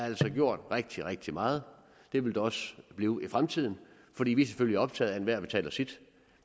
altså gjort rigtig rigtig meget det vil der også blive i fremtiden fordi vi selvfølgelig er optaget af at enhver betaler sit